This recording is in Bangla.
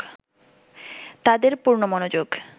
তাদের পূর্ণ মনোযোগ